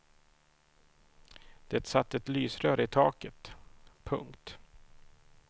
Det satt ett lysrör i taket. punkt